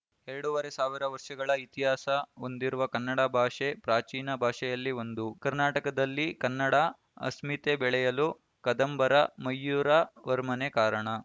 ಎರಡೂ ವರೆ ಸಾವಿರ ವರ್ಷಗಳ ಇತಿಹಾಸ ಹೊಂದಿರುವ ಕನ್ನಡ ಭಾಷೆ ಪ್ರಾಚೀನ ಭಾಷೆಯಲ್ಲಿ ಒಂದು ಕರ್ನಾಟಕದಲ್ಲಿ ಕನ್ನಡ ಅಸ್ಮಿತೆ ಬೆಳೆಯಲು ಕದಂಬರ ಮಯೂರ ವರ್ಮನೇ ಕಾರಣ